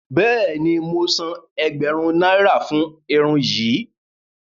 Bẹẹni, mo sán ègbérún náírà fún irun yìí.